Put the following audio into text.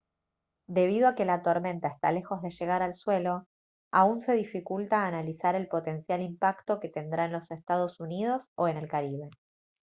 debido a que la tormenta está lejos de llegar al suelo aún se dificulta analizar el potencial impacto que tendrá en los estados unidos o en el caribe